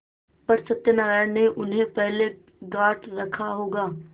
पर सत्यनारायण ने उन्हें पहले गॉँठ रखा होगा